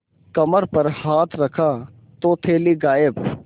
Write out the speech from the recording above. कमर पर हाथ रखा तो थैली गायब